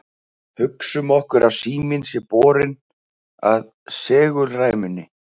hugsum okkur að síminn sé borinn að segulræmunni